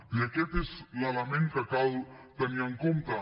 i aquest és l’element que cal tenir en compte